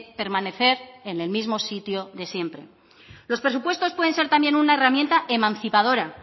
permanecer en el mismo sitio de siempre los presupuestos pueden ser también una herramienta emancipadora